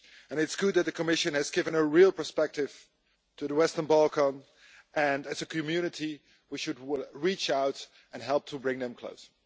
It's good the Commission has given a real perspective to the Western Balkans, and as a community we should reach out and help to bring them closer.